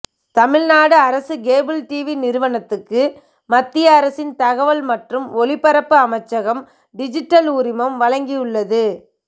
தமிழ்நாடு அரசு cable TV நிறுவனத்துக்கு மத்திய அரசின் தகவல் மற்றும் ஒளிபரப்பு அமைச்சகம் டிஜிட்டல் உரிமம் வழங்கியுள்ளது